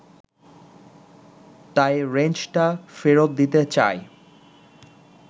তাই রেঞ্চটা ফেরত দিতে চায়